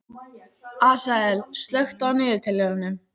Asael, slökktu á niðurteljaranum.